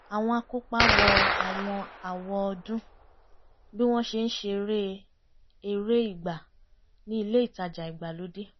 àwọn akópa wọ àwọn àwọ̀ ọdún bí wọ́n ṣe ń ṣeré eré ìgbà ní ilé ìtajà ìgbàlódé